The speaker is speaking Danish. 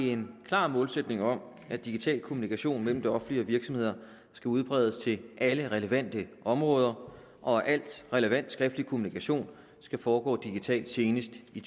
en klar målsætning om at digital kommunikation mellem det offentlige og virksomheder skal udbredes til alle relevante områder og at al relevant skriftlig kommunikation skal foregå digitalt senest i